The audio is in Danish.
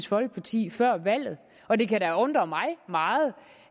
folkeparti før valget og det kan da undre mig meget